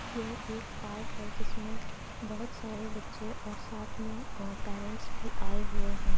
यह एक पार्क है जिसमें बहुत सारे बच्चे और साथ में अ पेरेंट्स भी आए हुए हैं।